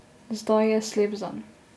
Zdaj je slep zanj.